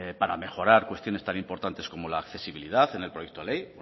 para mejorar cuestiones tan importantes como la accesibilidad en el proyecto de ley